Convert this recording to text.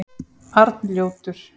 Arnljótur